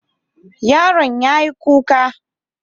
Yaron yayi kuka.